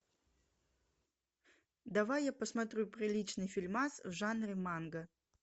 давай я посмотрю приличный фильмас в жанре манга